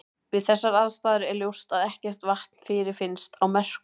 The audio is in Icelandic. Við þessar aðstæður er ljóst að ekkert vatn fyrirfinnst á Merkúr.